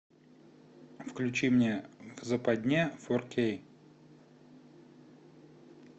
включи мне западня фор кей